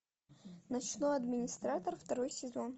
ночной администратор второй сезон